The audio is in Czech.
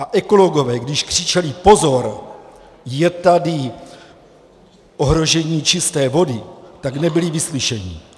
A ekologové, když křičeli, pozor, je tady ohrožení čisté vody, tak nebyli vyslyšeni.